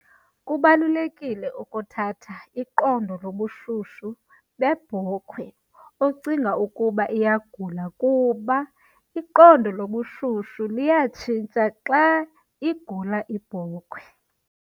Kubalulekile ukuthatha iqondo lobushushu bebhokhwe ocinga ukuba iyagula kuba iqondo lobushushu liyatshintsha xa igula ibhokhwe.